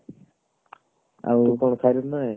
ଆଉ କଣ